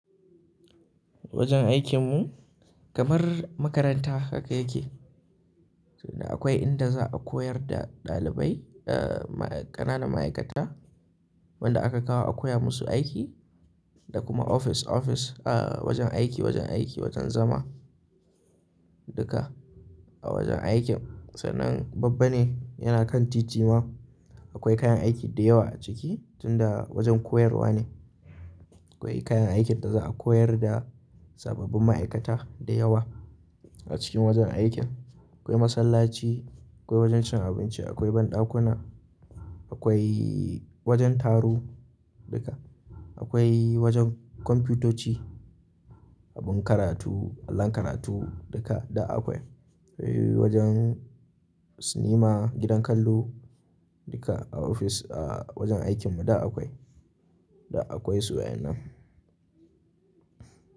Wajen aikin mu kamar makaranta haka yake. Da akwai inda za a koyar da ɗalibai, eh ƙananan ma'aikata wanda aka kawo a koya musu aiki da kuma ofis ofis. Eh wajen aiki, wajen aiki, wajen zama duka a wajen aikin. Sannan babba ne yana kan titi ma. Akwai kayan aiki da yawa a ciki tunda wajen koyarwa ne. Akwai kayan aikin da za a koyar da sababbin ma'aikata da yawa a cikin wajen aikin. Akwai masallaci, akwai wajen cin abinci, akwai banɗakuna, akwai wajen taro duka. Akwai wajen kwamfutoci, abin karatu, allon karatu duka da akwai. Akwai wajen sinima, gidan kallo duka a ofis a wajen aikin mu du akwai. Da akwai su wa'ennan.